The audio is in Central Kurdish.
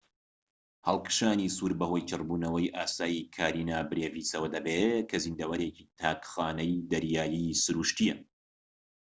هەڵکشانی سوور بەهۆی چڕبوونەوەی ئاسایی کارینا برێڤیسەوە دەبێت کە زیندەوەرێکی تاک خانەی دەریایی سروشتییە